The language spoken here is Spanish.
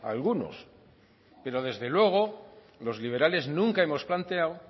algunos pero desde luego los liberales nunca hemos planteado